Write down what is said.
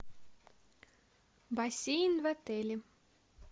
бассейн в отеле